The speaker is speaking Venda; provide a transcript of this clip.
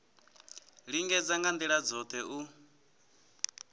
lingedza nga ndila dzothe u